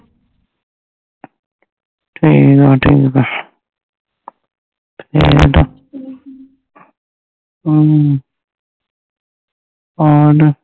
ਠੀਕ ਆ ਠੀਕ ਆ ਫੇਰ ਅਮ ਹੋਰ